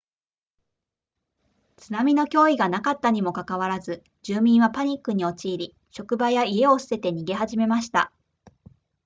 津波の脅威がなかったにもかかわらず住民はパニックに陥り職場や家を捨てて逃げ始めました